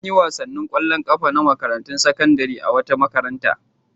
An yi wasannin ƙwallon ƙafa na makarantun sakandare a wata makaranta.